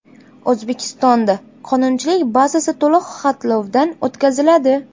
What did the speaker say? O‘zbekistonda qonunchilik bazasi to‘liq xatlovdan o‘tkaziladi.